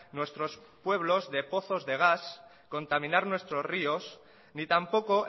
nuestros pueblos de pozos de gas contaminar nuestros ríos ni tampoco